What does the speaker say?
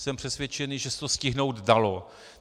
Jsem přesvědčený, že se to stihnout dalo.